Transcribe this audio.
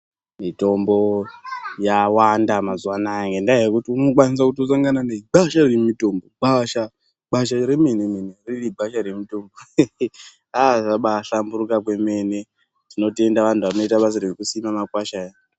Mitombo yawanda mazuwa anaya ngenyaya yekuti unokwanisa negwasha remutombo gwasha gwasha remene mene riri gwasha remene hehe aa zvabaahlamburuka kwemene tinobaatenda antu anoita basa rekusime makwasha aya.